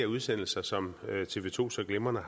udsendelser som tv to så glimrende